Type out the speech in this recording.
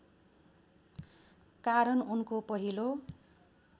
कारण उनको पहिलो